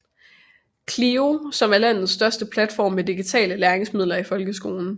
CLIO som er landets største platform med digitale læringsmidler til folkeskolen